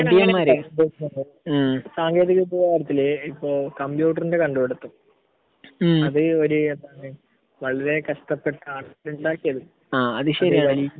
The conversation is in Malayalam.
ഏഹ് സാങ്കേന്തിക വിദ്യയുടെ കാര്യത്തിൽ ഏഹ് ഇപ്പൊ കമ്പ്യൂട്ടറിന്റെ കണ്ട് പിടുത്തം ഹ്മ് അത് ഒരു വളരെ കഷ്ടപ്പെട്ടാണ് ഇണ്ടാക്കിയത്. ആഹ്